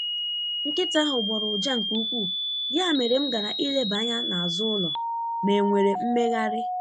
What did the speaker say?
Nkịta ahụ gbọọrọ ụja nke ukwuu, ya mere m gara ileba anya n’azụ ụlọ ma e nwere mmegharị.